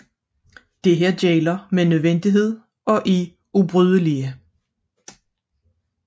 Disse gælder med nødvendighed og er ubrydelige